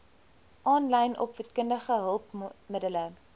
aanlyn opvoedkundige hulpmiddele